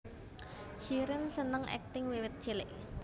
Shireen seneng akting wiwit cilik